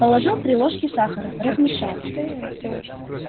положил три ложки сахара размешал